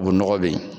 O nɔgɔ be yen